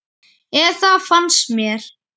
Eða það finnst mér.